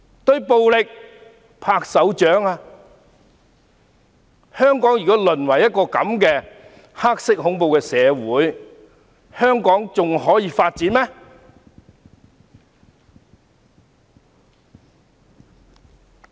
如果香港淪為這樣的黑色恐怖社會，還可以發展嗎？